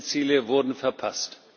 Alle diese Ziele wurden verpasst.